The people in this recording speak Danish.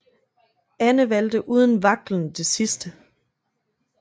Anne valgte uden vaklen det sidste